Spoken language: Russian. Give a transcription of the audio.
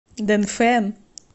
дэнфэн